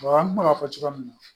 an kun bɛ ka fɔ cogoya min na